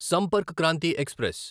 Sampark Kranti express